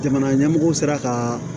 Jamana ɲɛmɔgɔw sera ka